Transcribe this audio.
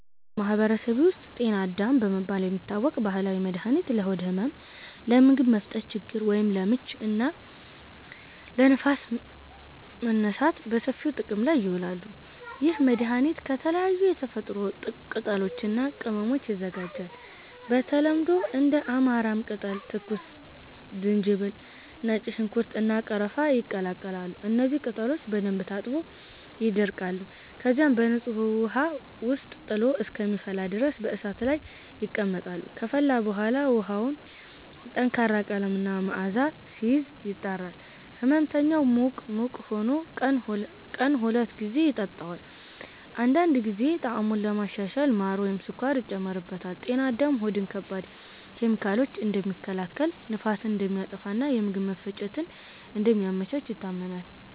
አዎ፣ በማህበረሰቤ ውስጥ “ጤና አዳም” በመባል የሚታወቅ ባህላዊ መድኃኒት ለሆድ ህመም፣ ለምግብ መፈጨት ችግር (ለምች) እና ለንፋስ መነሳት በሰፊው ጥቅም ላይ ይውላል። ይህ መድኃኒት ከተለያዩ የተፈጥሮ ቅጠሎች እና ቅመሞች ይዘጋጃል። በተለምዶ እንደ አማራም ቅጠል፣ ትኩስ ዝንጅብል፣ ነጭ ሽንኩርት፣ እና ቀረፋ ይቀላቀላሉ። እነዚህ ቅጠሎች በደንብ ታጥበው ይደቀቃሉ፣ ከዚያም በንጹህ ውሃ ውስጥ ጥሎ እስከሚፈላ ድረስ በእሳት ላይ ይቀመጣሉ። ከፈላ በኋላ ውሃው ጠንካራ ቀለም እና መዓዛ ሲይዝ፣ ይጣራል። ሕመምተኛው ሙቅ ሙቅ ሆኖ ቀን ሁለት ጊዜ ይጠጣዋል። አንዳንድ ጊዜ ጣዕሙን ለማሻሻል ማር ወይም ስኳር ይጨመርበታል። “ጤና አዳም” ሆድን ከባድ ኬሚካሎች እንደሚከላከል፣ ንፋስን እንደሚያጠፋ እና የምግብ መፈጨትን እንደሚያመቻች ይታመናል።